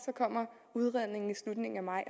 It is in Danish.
kommer udredningen i slutningen af maj